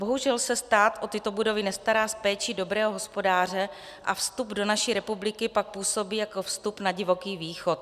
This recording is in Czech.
Bohužel se stát o tyto budovy nestará s péčí dobrého hospodáře a vstup do naší republiky pak působí jako vstup na divoký východ.